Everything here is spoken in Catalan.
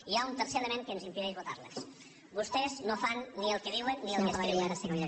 hi ha un tercer element que ens impedeix votar les vostès no fan ni el que diuen ni el que escriuen